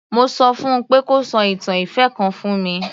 Mo sọ fún un pé kó sọ ìtàn ìfẹ́ kan fún mi.